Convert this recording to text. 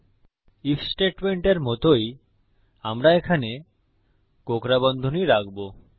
if স্টেটমেন্টের মতই আমরা এখানে কোঁকড়া বন্ধনী রাখবো